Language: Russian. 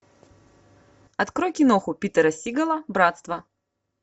открой киноху питера сигала братство